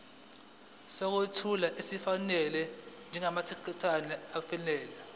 sokwethula esifanele njengamathekisthi